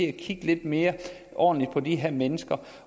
at kigge lidt mere ordentligt på de her mennesker